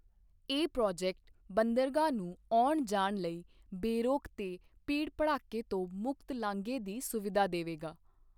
ਇਹ ਪ੍ਰੋਜੈਕਟ ਬੰਦਰਗਾਹ ਨੂੰ ਆਉਣ ਜਾਣ ਲਈ ਬੇਰੋਕ ਤੇ ਭੀੜ ਭੜੱਕੇ ਤੋਂ ਮੁਕਤ ਲਾਂਘੇ ਦੀ ਸੁਵਿਧਾ ਦੇਵੇਗਾ।